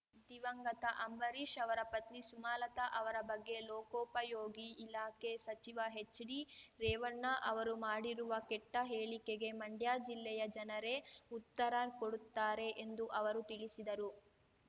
ದಿವಂಗತ ಅಂಬರೀಷ್ ರವರ ಪತ್ನಿ ಸುಮಲತಾ ಅವರ ಬಗ್ಗೆ ಲೋಕೋಪಯೋಗಿ ಇಲಾಖೆ ಸಚಿವ ಹೆಚ್ಡಿ ರೇವಣ್ಣ ರವರು ಮಾಡಿರುವ ಕೆಟ್ಟ ಹೇಳಿಕೆಗೆ ಮಂಡ್ಯ ಜಿಲ್ಲೆಯ ಜನರೇ ಉತ್ತರ ಕೊಡುತ್ತಾರೆ ಎಂದು ಅವರು ತಿಳಿಸಿದರು